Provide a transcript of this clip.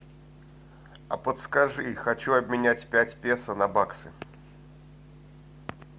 а подскажи хочу обменять пять песо на баксы